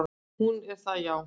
"""Hún er það, já."""